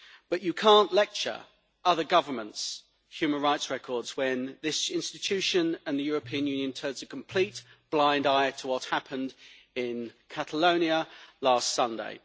But one cannot lecture on other governments' human rights records when this institution and the European Union turn a complete blind eye to what happened in Catalonia last Sunday.